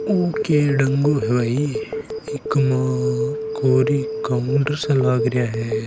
ओ के डगु है भाई इक माय कोरी काउटर सा लागरिया है।